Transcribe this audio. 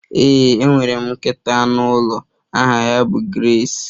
Ee, enwere m nkịta anụ ụlọ aha ya bụ Grace